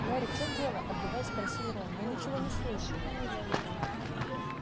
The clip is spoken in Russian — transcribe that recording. гарри в чём дело отдуваясь спросил рон я ничего не слышу